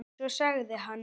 Svo sagði hann